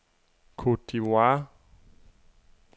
Côte d'Ivoire